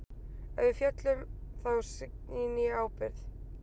Ef við föllum þá sýni ég ábyrgð.